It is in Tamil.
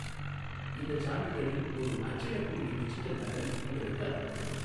இந்தச் சான்றிதழின் ஓர் அச்சிடக்கூடிய டிஜிட்டல் நகல் உங்களுக்கு அனுப்பப்படும்.